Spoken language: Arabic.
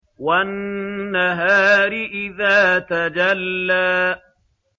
وَالنَّهَارِ إِذَا تَجَلَّىٰ